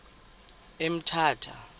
emthatha